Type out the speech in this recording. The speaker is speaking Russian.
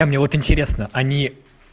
а мне вот интересно они